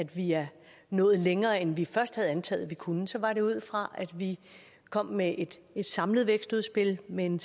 vi er nået længere end vi først havde antaget at vi kunne så var det ud fra at vi kom med et et samlet vækstudspil med en